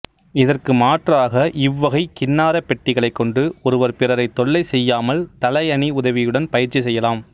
இதற்கு மாற்றாக இவ்வகை கின்னாரப்பெட்டிகளைக் கொண்டு ஒருவர் பிறரை தொல்லை செய்யாமல் தலையணி உதவியுடன் பயிற்சி செய்யலாம்